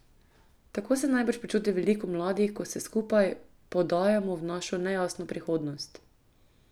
Tako se najbrž počuti veliko mladih, ko se skupaj podajamo v našo nejasno prihodnost.